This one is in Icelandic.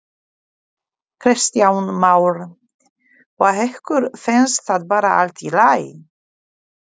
Kristján Már: Og ykkur finnst það bara allt í lagi?